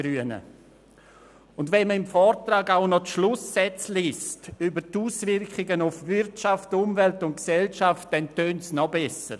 Und wenn man im Vortrag auch noch den Schlusssatz über die Auswirkungen auf Umwelt, Wirtschaft und Gesellschaft liest, dann tönt es noch besser: